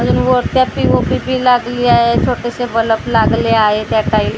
अजून वरचा पी_ओ_पी बी लागली आहे छोटेसे बलप बल्ब लागले आहेत या टाईल --